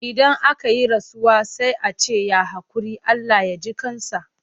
Idan aka yi rasuwa sai a ce ya haƙuri? Allah ya ji ƙan sa.